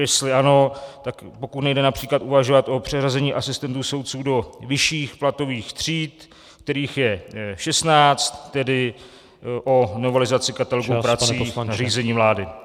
Jestli ano, tak pokud nejde například uvažovat o přeřazení asistentů soudců do vyšších platových tříd, kterých je 16 , tedy o novelizaci katalogu prací v nařízení vlády.